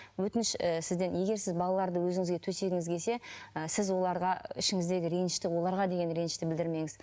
өтініш і сізден егер сіз балаларды өзіңізге төсегіңіз келсе і сіз оларға ішіңіздегі ренішті оларға деген ренішті білдірмеңіз